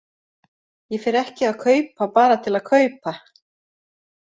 Ég fer ekki að kaupa bara til að kaupa.